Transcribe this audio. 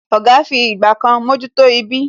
Oga fi ìgbà kan mojuto ibí